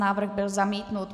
Návrh byl zamítnut.